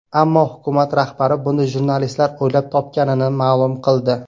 Ammo hukumat rahbari buni jurnalistlar o‘ylab topganini ma’lum qildi.